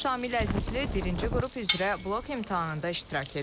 Şamil Əzizli birinci qrup üzrə blok imtahanında iştirak edib.